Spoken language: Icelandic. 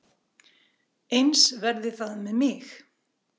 Eins verði það með mig.